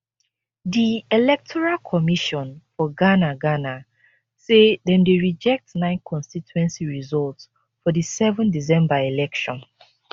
di electoral commission for ghana ghana say dem dey reject nine constituency results for di 7 december election